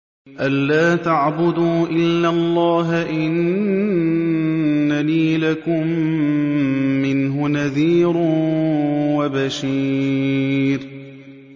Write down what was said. أَلَّا تَعْبُدُوا إِلَّا اللَّهَ ۚ إِنَّنِي لَكُم مِّنْهُ نَذِيرٌ وَبَشِيرٌ